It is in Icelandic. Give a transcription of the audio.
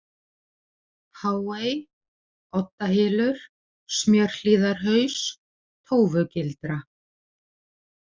Háey, Oddahylur, Smjörhlíðarhaus, Tófugildra